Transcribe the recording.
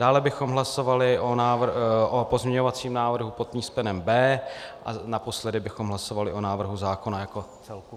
Dále bychom hlasovali o pozměňovacím návrhu pod písmenem B a naposledy bychom hlasovali o návrhu zákona jako celku.